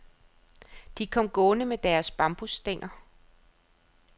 De kom gående med deres bambusstænger.